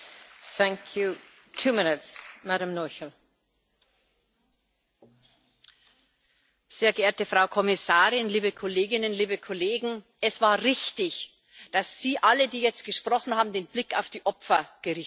Frau Präsidentin, sehr geehrte Frau Kommissarin, liebe Kolleginnen, liebe Kollegen! Es war richtig, dass Sie alle, die jetzt gesprochen haben, den Blick auf die Opfer gerichtet haben.